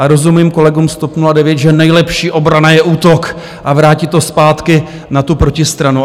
A rozumím kolegům z TOP 09, že nejlepší obrana je útok a vrátit to zpátky na tu protistranu.